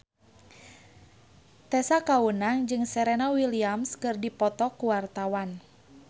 Tessa Kaunang jeung Serena Williams keur dipoto ku wartawan